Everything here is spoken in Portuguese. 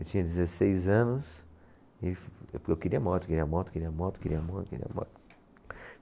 Eu tinha dezesseis anos e, porque eu queria moto, queria moto, queria moto, queria moto, queria moto.